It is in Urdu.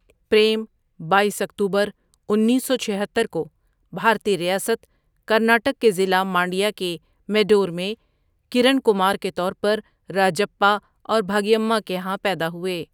پریم بایس اکتوبر انیس سو چھہتر کو بھارتی ریاست کرناٹک کے ضلع مانڈیا کے میڈور میں، کرن کمار کے طور پر راجپّا اور بھاگیمّا کے ہاں پیدا ہوئے۔